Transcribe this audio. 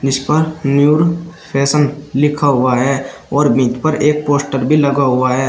इसपर new fashion लिखा हुआ है और मिड पर एक पोस्टर भी लगा हुआ है।